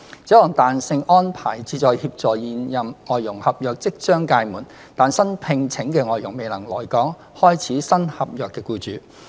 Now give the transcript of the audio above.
這項彈性安排旨在協助現任外傭合約即將屆滿，但新聘請的外傭未能來港開始新合約的僱主。